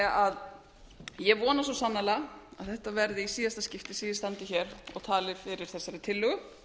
fyrirtækjanna ég vona því svo sannarlega að þetta verði í síðasta skipti sem ég standi hér og tali fyrir þessari tillögu